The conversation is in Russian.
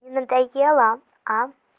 надоело а